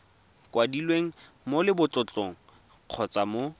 kwadilweng mo lebotlolong kgotsa mo